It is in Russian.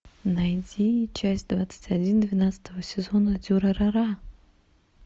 найди часть двадцать один двенадцатого сезона дюрарара